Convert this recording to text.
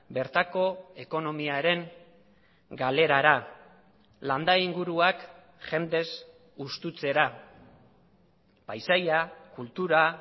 bertako ekonomiaren galerara landa inguruak jendez hustutzera paisaia kultura